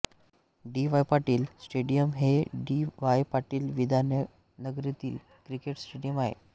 D Y Patil stadium हे D Y Patil विद्यानगरीतील cricket stadium आहे